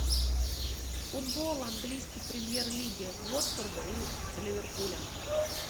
футбол английской премьер лиги уотфорда и ливерпуля